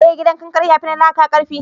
eh gidan kankare ya fi na laƙa karfi